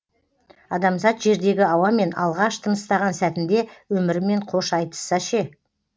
адамзат жердегі ауамен алғаш тыныстаған сәтінде өмірімен қош айтысса ше